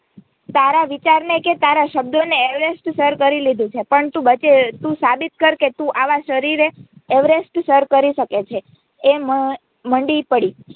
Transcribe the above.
તારા વિચારને કે તારા શબ્દોને અવેરેસ્ટ સર કરી લીધું છે પણ તું સાબિત કરકે તું આવા શરીરે અવેરેસ્ટ સર કરી શકે છે એ મંડી પડી.